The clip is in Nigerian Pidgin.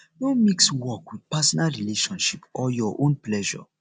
no mix work with personal relationship or your own pleasure